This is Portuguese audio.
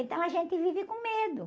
Então a gente vive com medo.